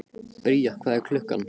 Bría, hvað er klukkan?